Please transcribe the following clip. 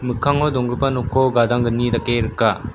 mikkango donggipa nokko gadanggni dake rika.